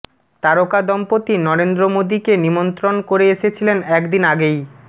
তারকা দম্পতি নরেন্দ্র মোদীকে নিমন্ত্রণ করে এসেছিলেন একদিন আগেই